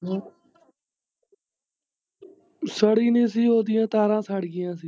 ਹਾਂ ਸੜੀ ਨੀ ਸੀ, ਓਦੀਆ ਤਾਰਾਂ ਸੜਗੀਆਂ ਸੀ।